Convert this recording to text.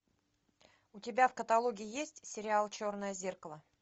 у тебя в каталоге есть сериал черное зеркало